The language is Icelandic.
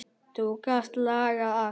Þú gast lagað allt.